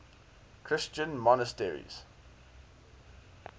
christian monasteries